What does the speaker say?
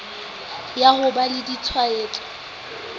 ya ho ba le ditshwaetso